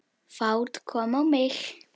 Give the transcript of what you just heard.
Fát kom á mig.